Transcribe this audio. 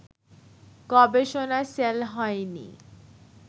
গবেষনা সেল হয়নি